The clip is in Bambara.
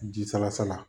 Ji salasala